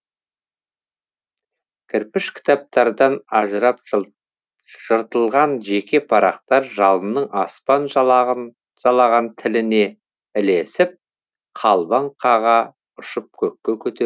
кірпіш кітаптардан ажырап жыртылған жеке парақтар жалынның аспан жалаған тіліне ілесіп қалбаң қаға ұшып көкке көтерілген